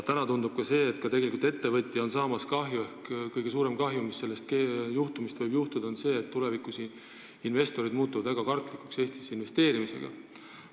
Praegu tundub, et tegelikult saab ettevõtja kõige suurema kahju, mis sellest juhtumist võib tulla, sest tulevikus muutuvad investorid väga kartlikuks ega julge enam Eestisse investeerida.